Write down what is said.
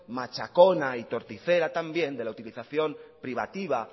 machacona y torticera también de la utilización privativa